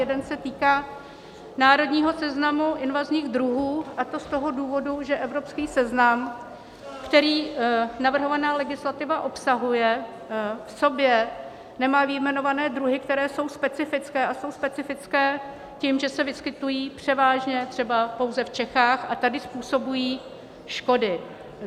Jeden se týká národního seznamu invazních druhů, a to z toho důvodu, že evropský seznam, který navrhovaná legislativa obsahuje, v sobě nemá vyjmenované druhy, které jsou specifické, a jsou specifické tím, že se vyskytují převážně třeba pouze v Čechách a tady způsobují škody.